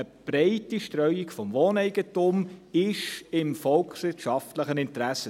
Eine breite Streuung des Wohneigentums ist im volkswirtschaftlichen Interesse.